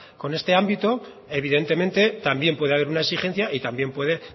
con este ámbito evidentemente también puede haber una exigencia y también puede